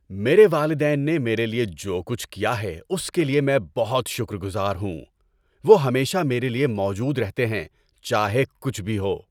میرے والدین نے میرے لیے جو کچھ کیا ہے اس کے لیے میں بہت شکر گزار ہوں۔ وہ ہمیشہ میرے لیے موجود رہتے ہیں چاہے کچھ بھی ہو۔